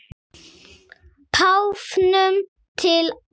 Páfanum til ama.